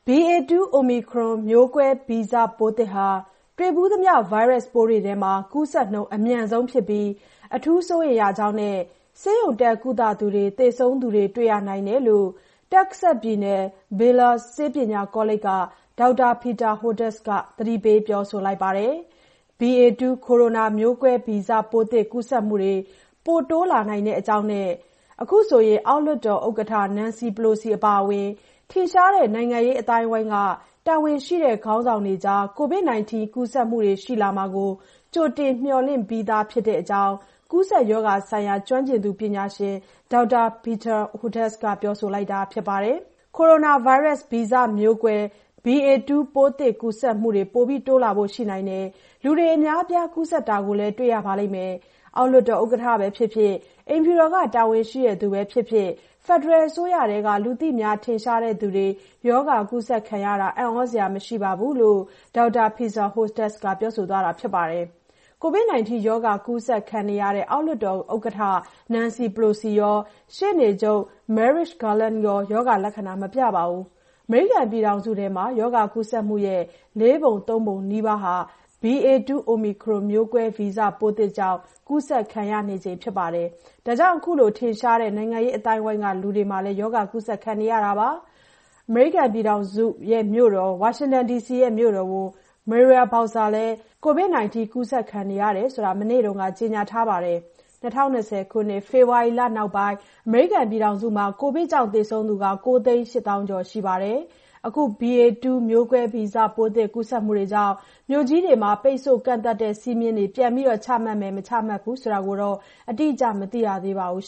BA.2 Omicron မျိုးကွဲ ဗီဇပိုးသစ်ဟာ တွေ့ဖူးသမျှ ဗိုင်းရပ်စ်ပိုးတွေထဲမှာ ကူးစက်နှုန်း အမြန်ဆုံးဖြစ်ပြီး အထူးစိုးရိမ်ရတဲ့အကြောင်းနဲ့ ဆေးရုံတက် ကုသသူတွေ၊ သေဆုံးသူတွေ တွေ့ရနိုင်တယ်လို့ Texas ပြည်နယ် Baylor ဆေးပညာ College က ဒေါက်တာ Peter Hotez က သတိပေးပြောဆိုလိုက်ပါတယ်။ B.A 2 ကိုရိုနာမျိုးကွဲ ဗီဇပိုးသစ်ကူးစက်မှုတွေ ပိုတိုးလာနိုင်ကြောင်းနဲ့ အောက်လွှတ်တော် ဥက္ကဋ္ဌ Nancy Pelosi အပါအဝင် ထင်ရှားတဲ့ နိုင်ငံရေးအသိုင်းအဝိုင်းက တာဝန်ရှိတဲ့ ခေါင်းဆောင်တွေကြား ကိုဗစ် 19 ကူးစက်မှုတွေ ရှိလာမှာကို ကြိုတင် မျှော်လင့်ပြီးသားဖြစ်တဲ့အကြောင်း ကူးစက်ရောဂါဆိုင်ရာ ကျွမ်းကျင်သူ ပညာရှင် ဒေါက်တာ Peter Hotez က ပြောဆိုလိုက်တာပါ။ “ကိုရိုနာဗိုင်းရပ်စ် ဗီဇမျိုးကွဲ B.A 2 ပိုးသစ်ကူးစက်မှုက ပိုတိုးလာဖို့ ရှိပါတယ်။ လူတွေ အများအပြား ကူးစက်တာကို တွေ့ရပါလိမ့်မယ်။ အောက်လွှတ်တော် ဥက္ကဋ္ဌပဲဖြစ်ဖြစ်၊ အိမ်ဖြူတော်က တာဝန်ရှိသူတွေပဲဖြစ်ဖြစ် ဖက်ဒရယ်အစိုးရထဲက လူသိများထင်ရှားတဲ့သူတွေ ရောဂါ ကူးစက်တာ အံသြစရာမရှိပါဘူး” လို့ Texas ပြည်နယ် Baylor ဆေးပညာ College က ဒေါက်တာ Peter Hotez က ပြောဆိုသွားတာပါ။ ကိုဗစ် 19 ရောဂ ါကူးစက်တဲ့ အောက်လွှတ်တော် ဥက္ကဋ္ဌ Nancy Pelosi ရော၊ ရှေ့နေချုပ် Merrick Garland ရော ရောဂါလက္ခဏာ မပြပါဘူး။ အမေရိကန် ပြည်ထောင်စုအတွင်း ရောဂါ ကူးစက်မှုရဲ့ လေးပုံသုံးပုံနီးပါး BA.2 Omicron မျိုးကွဲ ဗီဇပိုးသစ်ကြောင့် ကူးစက်နေချိန်မှာ အခုလို ထင်ရှားတဲ့ နိုင်ငံရေးအသိုင်းအဝိုင်းက လူတွေ ရောဂါ ကူးစက်နေတာပါ။ ဝါရှင်တန်မြို့တော်ဝန် Muriel Bowser လည်း ကိုဗစ် 19 ရောဂါ ကူးစက်နေတယ်ဆိုတာ မနေ့က ကြေညာပါတယ်။ ၂၀၂၀ ခုနှစ် ဖေဖော်ဝါရီလောက်ပိုင်း အမေရိကန်ပြည်ထောင်စုမှာ ကိုဗစ်ကြောင့် သေဆုံးသူ ၉ သိန်း ၈ ကျော် ရှိပြီဖြစ်ပါတယ်။ အခု B.A 2 မျိုးကွဲဗီဇ ပိုးသစ် ကူးစက်မှုတွေကြောင့် မြို့ကြီးတွေမှာ ပိတ်ဆို့ကန့်သတ်တဲ့ စည်းမျဉ်းတွေ ပြန်ပြီး ချမှတ်မယ် မချမှတ်ဘူးဆိုတောတော့ အတိအကျ မသိရသေးပါဘူး